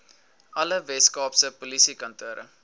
alle weskaapse polisiekantore